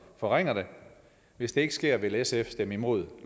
forringer den hvis det ikke sker vil sf stemme imod